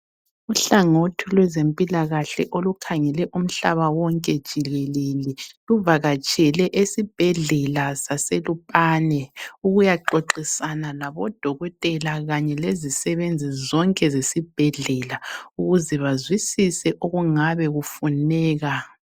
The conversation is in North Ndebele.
Uhlangothi lwezempilakahle olukhangele umhlaba wonke jikelele luvakatshele esibhedlela saseLupane ukuyaxoxisana laboDokotela kanye lezisebenzi zonke zasesibhedlela, ukuze bazwisise okungabe kufuneka.